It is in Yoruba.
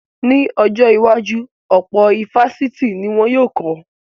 Ní ọjọ́ iwájú, ọ̀pọ̀ ifásitì ni wọn yóò kọ́